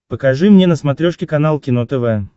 покажи мне на смотрешке канал кино тв